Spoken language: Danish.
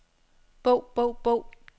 bog bog bog